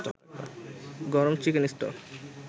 গরম chicken stock